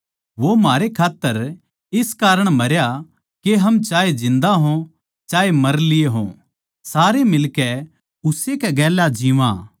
वो म्हारै खात्तर इस कारण मरया के हम चाहे जिन्दा हों चाहे मर लिये हों सारे मिलकै उस्से कै गेल्या जिवां